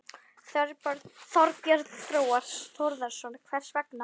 Þorbjörn Þórðarson: Hvers vegna?